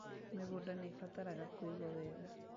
Mĩgũnda nĩĩbataraga kũigwo wega